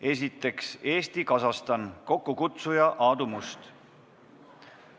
Esiteks, Eesti-Kasahstani parlamendirühm, kokkukutsuja on Aadu Must.